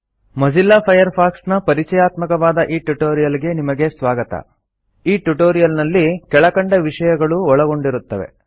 Mozilla Firefox ನ ಪರಿಚಯಾತ್ಮಕವಾದ ಈ ಟ್ಯುಟೋರಿಯಲ್ ಗೆ ನಿಮಗೆ ಸ್ವಾಗತ ಈ ಟ್ಯುಟೋರಿಯಲ್ ನಲ್ಲಿ ಕೆಳಕಂಡ ವಿಷಯಗಳು ಒಳಗೊಂಡಿರುತ್ತವೆ